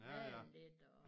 Male lidt og